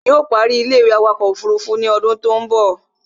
Yóò ó parí ilé-ìwé awakọ̀ ọkọ̀ òfurufú ní odún tó ń bọ̀